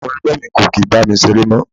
Àwọn ẹgbẹ́ mi kò kí ń bá mi ṣeré mọ́.